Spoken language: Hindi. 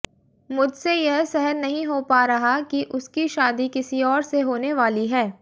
मुझसे यह सहन नहीं हो रहा कि उसकी शादी किसी और से होने वाली है